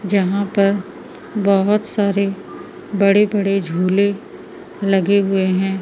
जहां पर बहोत सारे बड़े बड़े झूले लगे हुए हैं।